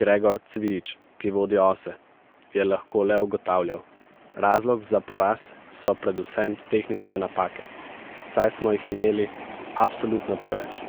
Gregor Cvijič, ki vodi ose, je lahko le ugotavljal: 'Razlog za poraz so predvsem tehnične napake, saj smo jih imeli absolutno preveč,